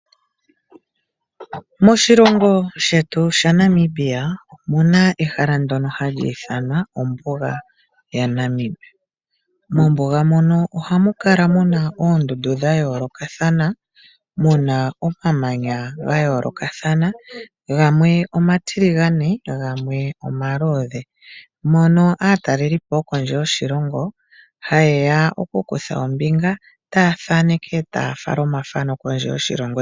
Moshilongo shetu shaNamibia omu na ehala ndyono hali ithanwa ombuga yaNamib. Mombuga mono ohamu kala mu na oondundu dha yoolokathana, mu na omamanya ga yoolokathana, gamwe omatiligane gamwe omaluudhe. Mono aatalelipo yokondje yoshilongo haye ya okukutha ombinga taya thaneke taya fala omathano kondje yoshilongo.